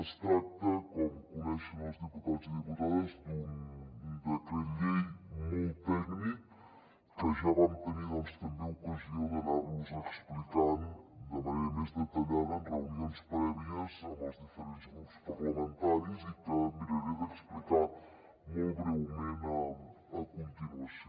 es tracta com coneixen els diputats i diputades d’un decret llei molt tècnic que ja vam tenir també ocasió d’anar los explicant de manera més detallada en reunions prèvies amb els diferents grups parlamentaris i que miraré d’explicar molt breument a continuació